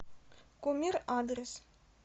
кумир адрес